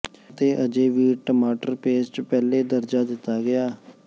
ਅਤੇ ਅਜੇ ਵੀ ਟਮਾਟਰ ਪੇਸਟ ਪਹਿਲੇ ਦਰਜਾ ਦਿੱਤਾ ਗਿਆ